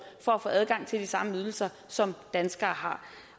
for at få adgang til de samme ydelser som danskere har